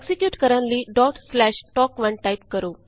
execute ਕਰਨ ਲਈ tok1 type ਕਰੋ